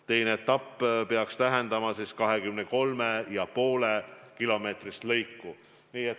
Teine etapp peaks tähendama 23,5-kilomeetrist lõiku.